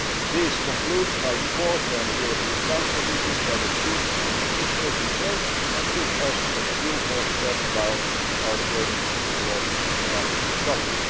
This concludes my report on a European Council meeting that achieved some significant results and took us a few more steps down our journey towards economic recovery.